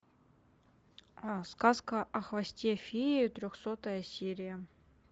сказка о хвосте феи трехсотая серия